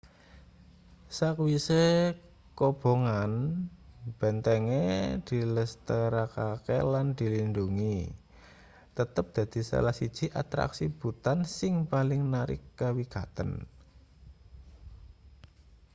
sakwise kobongan bentenge dilestarekake lan dilindhungi tetep dadi salah siji atraksi bhutan sing paling narik kawigaten